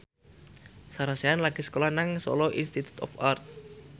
Sarah Sechan lagi sekolah nang Solo Institute of Art